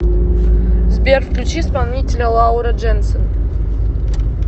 сбер включи исполнителя лаура дженсен